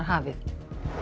hafið